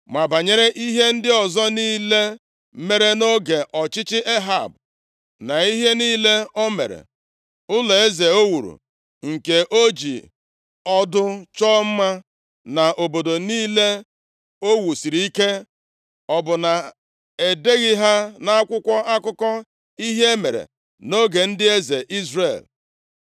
Ma banyere ihe ndị ọzọ niile mere nʼoge ọchịchị Ehab na ihe niile o mere, ụlọeze o wuru nke o ji ọdụ chọọ mma, na obodo niile o wusiri ike, ọ bụ na e deghị ha nʼakwụkwọ akụkọ ihe mere nʼoge ndị eze Izrel?